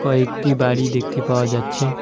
কয়েকটি বাড়ি দেখতে পাওয়া যাচ্ছে।